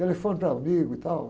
Telefono para amigo e tal.